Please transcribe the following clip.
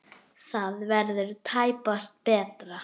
Það verður tæpast betra.